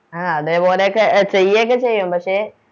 ആ അതേപോലെയൊക്കെ ചെയ്യൊക്കെ ചെയ്യാം പക്ഷെ